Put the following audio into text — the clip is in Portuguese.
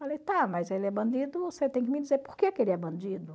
Falei, tá, mas ele é bandido, você tem que me dizer por que que ele é bandido.